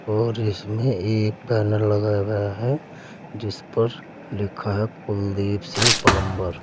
और इसमें एक बैनर लगाया गया है जिस पर लिखा है कुलदीप सिंह प्लंबर ।